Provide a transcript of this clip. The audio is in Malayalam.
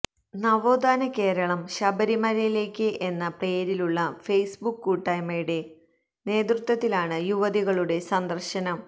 നവോത്ഥാന കേരളം ശബരിമലയിലേക്ക് എന്ന പേരിലുള്ള ഫെയ്സ്ബുക്ക് കൂട്ടായ്മയുടെ നേതൃത്വത്തിലാണ് യുവതികളുടെ സന്ദർശനം